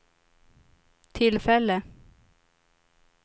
tillfälle